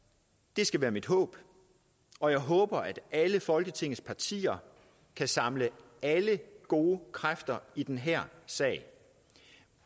det skal være mit håb og jeg håber at alle folketingets partier kan samle alle gode kræfter i den her sag